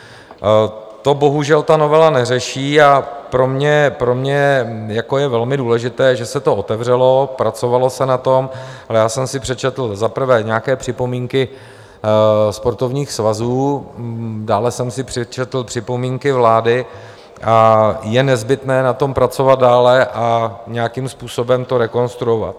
To bohužel novela neřeší a pro mě je velmi důležité, že se to otevřelo, pracovalo se na tom, ale já jsem si přečetl za prvé nějaké připomínky sportovních svazů, dále jsem si přečetl připomínky vlády a je nezbytné na tom pracovat dále a nějakým způsobem to rekonstruovat.